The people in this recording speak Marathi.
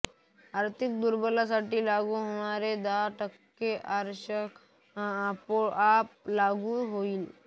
आर्थिक दुर्बलांसाठी लागू होणारे दहा टक्के आरक्षणही आपोआप लागू होईल